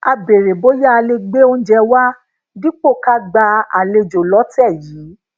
a béèrè bóyá a lè gbe oúnjẹ wá dípò ká gba àlejò lótè yìí